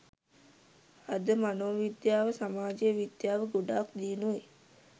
අද මනෝ විද්‍යාව සමාජ විද්‍යාව ගොඩක් දියුණුයි